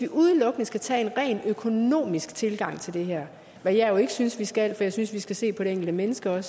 udelukkende skal tage en rent økonomisk tilgang til det her hvad jeg jo ikke synes vi skal for jeg synes vi også skal se på det enkelte menneske og